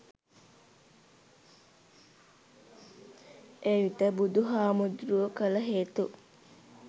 එවිට බුදු හාමුදුරුවෝ කළ හේතු